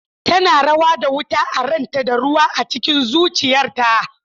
Tana rawa da wuta a ranta da ruwa a cikin zuciyarta.